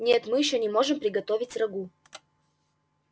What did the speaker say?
нет мы ещё не можем приготовить рагу